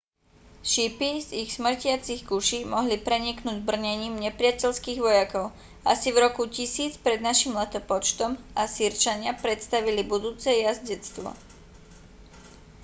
šípy z ich smrtiacich kuší mohli preniknúť brnením nepriateľských vojakov asi v roku 1000 p.n.l. asýrčania predstavili budúce jazdectvo